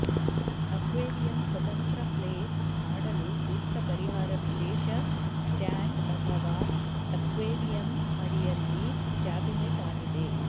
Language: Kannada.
ಅಕ್ವೇರಿಯಂ ಸ್ವತಂತ್ರ ಪ್ಲೇಸ್ ಮಾಡಲು ಸೂಕ್ತ ಪರಿಹಾರ ವಿಶೇಷ ಸ್ಟ್ಯಾಂಡ್ ಅಥವಾ ಅಕ್ವೇರಿಯಂ ಅಡಿಯಲ್ಲಿ ಕ್ಯಾಬಿನೆಟ್ ಆಗಿದೆ